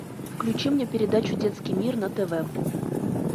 включи мне передачу детский мир на тв